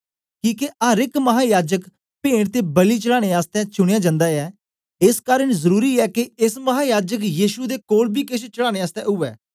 किके अर एक महायाजक पेंट ते बलि चढ़ाने आसतै चुनयां जन्दा ऐ एस कारन जरुरी ऐ के एस महायाजक यीशु दे कोल बी केछ चढ़ाने आसतै उवै